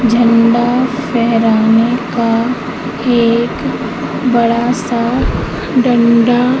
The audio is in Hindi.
झंडा फहराने का एक बड़ा सा डंडा--